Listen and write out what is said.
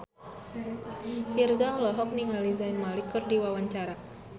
Virzha olohok ningali Zayn Malik keur diwawancara